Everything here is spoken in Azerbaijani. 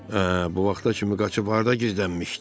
Hə, bu vaxta kimi qaçıb harda gizlənmişdin?